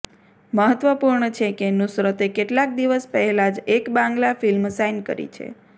મહત્વપૂર્ણ છે કે નુસરતે કેટલાક દિવસ પહેલા જ એક બાંગ્લા ફિલ્મ સાઇન કરી છે